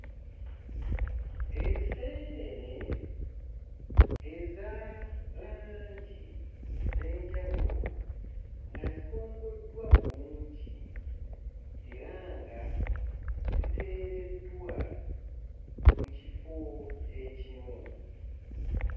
Enseenene eza langi ez'enjawulo nga zikongoddwa bulungi era nga ziteereddwa ku kifo ekimu.